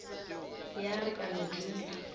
ya re ka no dula